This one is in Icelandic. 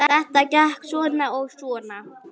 Þetta gekk svona og svona.